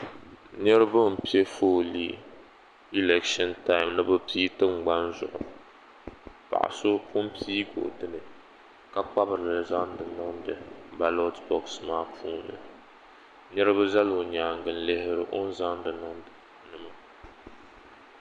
Niriba m piɛ foolii ilekshini tam ni bɛ piigi tingbani zuɣu paɣa so pun piigi o dini ka kpabirili n niŋdi baloti boɣasi maa puuni nitiba zala o nyaanga n lihi o ni zaŋdi niŋdi di puuni maa.